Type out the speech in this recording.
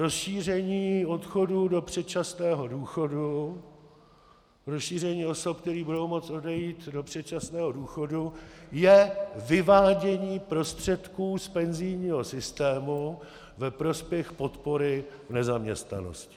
Rozšíření odchodů do předčasného důchodu, rozšíření osob, které budou moct odejít do předčasného důchodu, je vyvádění prostředků z penzijního systému ve prospěch podpory v nezaměstnanosti.